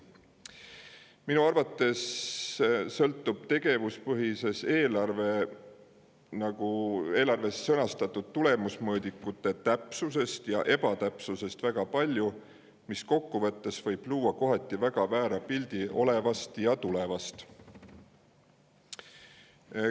Minu arvates sõltub tegevuspõhises eelarves sõnastatud tulemusmõõdikute täpsusest ja ebatäpsusest väga palju, sest kokku võttes võib see luua kohati väga väära pildi olevast ja tulevast.